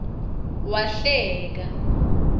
wahleka